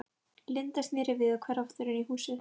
Linda, sneri við og hvarf aftur inn í húsið.